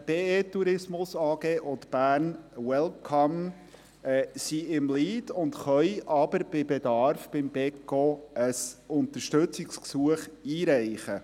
Die BE! Tourismus AG und Bern Welcome haben den Lead und können aber bei Bedarf beim Beco ein Unterstützungsgesuch einreichen.